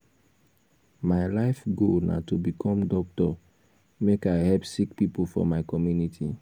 my life goal na to become doctor make i help sick pipo for my community.